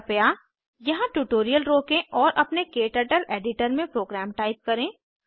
कृपया यहाँ ट्यूटोरियल रोकें और अपने क्टर्टल एडिटर में प्रोग्राम टाइप करें